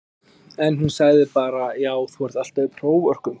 En hún sagði bara já þú ert alltaf í próförkunum?